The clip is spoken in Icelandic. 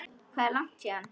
Hvað er langt héðan?